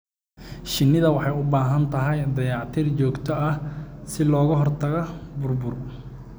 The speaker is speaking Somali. Shinnidu waxay u baahan tahay dayactir joogto ah si looga hortago burbur.